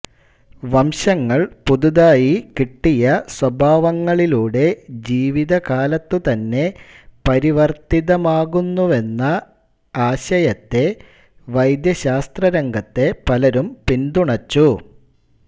വംശങ്ങൾ പുതുതായി കിട്ടിയ സ്വഭാവങ്ങളിലൂടെ ജീവിതകാലത്തുതന്നെ പരിവർത്തിതമാകുന്നുവെന്ന എന്ന ആശയത്തെ വൈദ്യശാസ്ത്രരംഗത്തെ പലരും പിന്തുണച്ചു